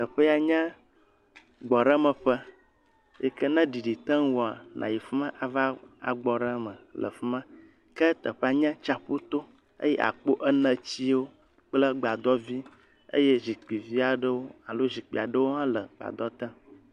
Teƒea nye gbɔɖemeƒe yi ke ne ɖeɖi te ŋuwòa, nayi fi ma ava gbɔ ɖe eme le afi ma. Ke teƒea nye tsaƒuto. Ke akpɔ enetsiwo kple gbadɔvi eye zikpivi aɖewo alo zikpi aɖewo hɔ̃ wole gbadɔ te.